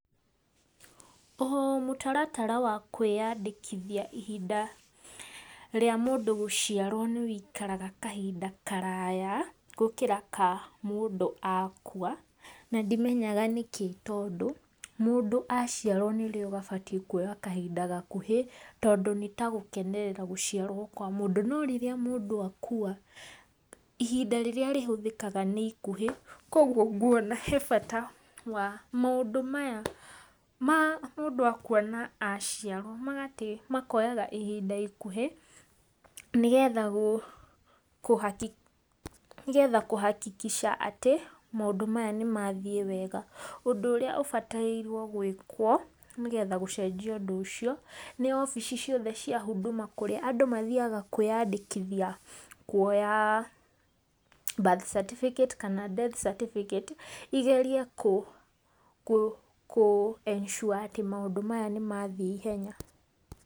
O mũtaratara wa kũĩyandĩkithia ihinda rĩa mũndũ gũciarwo nĩ rĩikaraga kahinda karaya gũkĩra ka mũndũ akua. Na ndimenyaga nĩkĩ tondũ mũndũ aciarwo nĩrĩo abatie kuoya kahinda gakuhĩ, tondũ nĩ ta gũkenerera gũciarwo kwa mũndũ. No rĩrĩa mũndũ akua, ihinda rĩrĩa rĩhũthĩkaga nĩ ikũhĩ. Koguo ngwona he bata wa maũndũ maya ma mũndũ akua na aciarwo makoyaga ihinda ikuhĩ , nĩgetha nĩgetha kũ hakikisha atĩ maũndũ maya nĩ mathiĩ wega. Ũndũ ũrĩa ũbatairwo gwĩkwo, nĩgetha gũcenjia ũndũ ũcio, nĩ wabici ciothe cia Huduma kũrĩa andũ mathiaga kwĩyandĩkithia kuoya birth certificate kana death certificate igerie kũ ensure atĩ maũndũ maya nĩ mathiĩ ihenya.